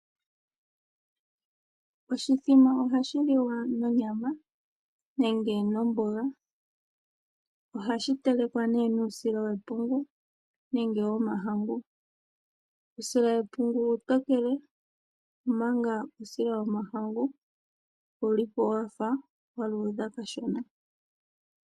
Oshimbombo ohashi liwa nonyama nenge nomboga. Ohashi telekwa nuusila wepungu nenge womahangu. Uusila wepungu uutokele, omanga uusila womahangu owu li po wa fa wa luudha kashona.